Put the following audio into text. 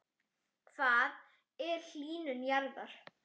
Hvað er hlýnun jarðar?